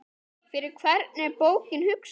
Fyrir hvern er bókin hugsuð?